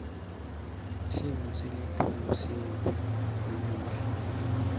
simo selitulu sibi namuhla